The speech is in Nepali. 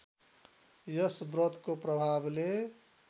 यस व्रतको प्रभावले